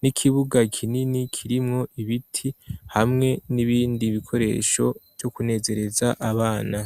n'ikibuga kinini kirimwo ibiti hamwe n'ibindi bikoresho vyo kunezereza abana.